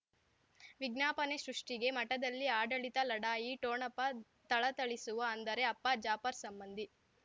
ವಿಜ್ಞಾಪನೆ ಸೃಷ್ಟಿಗೆ ಮಠದಲ್ಲಿ ಆಡಳಿತ ಲಢಾಯಿ ಠೊಣಪ ಥಳಥಳಿಸುವ ಅಂದರೆ ಅಪ್ಪ ಜಾಫರ್ ಸಂಬಂಧಿ